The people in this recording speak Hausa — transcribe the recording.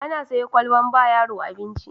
Ana sayo ƙwalbar ba yaro abinci